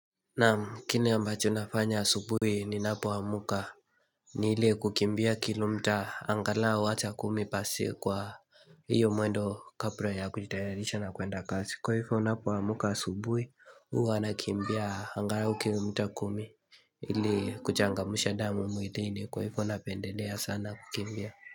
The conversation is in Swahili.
Naam kini ambacho nafanya asubuhi ninapoamka ni ili kukimbia kilomita angalau hata kumi pasi kwa hiyo mwendo kabura ya kujitayarisha na kuenda kazi Kwa hifo napoamka asubuhi huwa nakimbia angalau kilomita kumi ili kuchangamsha damu mwilini kwa hifo napendelea sana kukimbia.